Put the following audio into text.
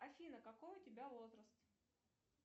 афина какой у тебя возраст